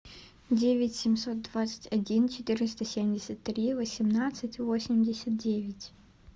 девять семьсот двадцать один четыреста семьдесят три восемнадцать восемьдесят девять